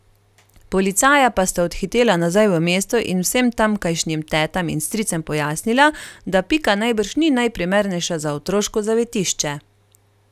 Policaja pa sta odhitela nazaj v mesto in vsem tamkajšnjim tetam in stricem pojasnila, da Pika najbrž ni najprimernejša za otroško zavetišče.